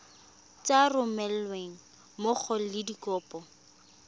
sa romelweng mmogo le dikopo